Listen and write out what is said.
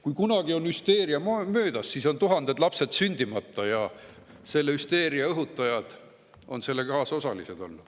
Kui kunagi on hüsteeria möödas, on tuhanded lapsed sündimata ja hüsteeria õhutajad on selle kaasosalised.